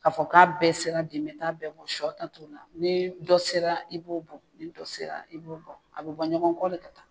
K'a fɔ k'a bɛɛ sera de n'a bɛɛ bɔ sɔ ta, na ni dɔ sera i b'o bɔ ni dɔ sera, i b'o dɔn a bɛ bɔ ɲɔgɔn kɔ de ka taa